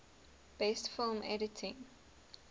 best film editing